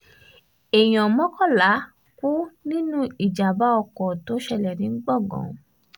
èèyàn mọ́kànlá kú nínú ìjàm̀bá ọkọ̀ tó ṣẹlẹ̀ ní gbọ̀ngàn